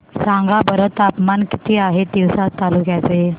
सांगा बरं तापमान किती आहे तिवसा तालुक्या चे